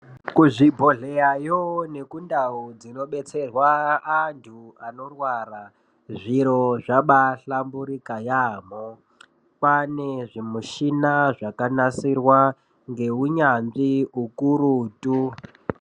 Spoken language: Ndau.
Kuzvibhedhleyayo nekundau dzinobetserwa antu anorwara zviro zvabahlamburika yaamho kwaane zvimushina zvakanasirwa ngeunyanzvi ukurutu.